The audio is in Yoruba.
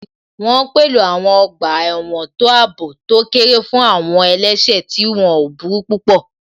Wọ́n pèlò àwọn ọgbà ẹ̀wọ̀n tó àbò tó kéré fún àwọn àwọn ẹlẹ́sẹ̀ tí wọ́n ò burú púpọ̀